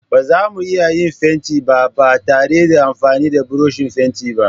Ba zamu iya yin fenti ba ba tare da amfani da burushin fenti ba.